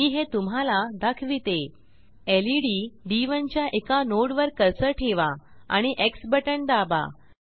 मी हे तुम्हाला दाखविते लेड D1च्या एका nodeवर कर्सर ठेवा आणि एक्स बटण दाबा